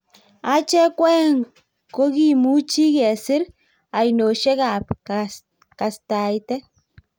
achek ko aeng' ko kimuchi kesir ainoshiek ab kastaitet